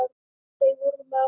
Þau voru mörg.